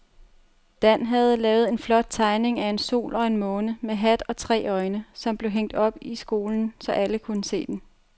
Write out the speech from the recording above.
Dan havde lavet en flot tegning af en sol og en måne med hat og tre øjne, som blev hængt op i skolen, så alle kunne se den.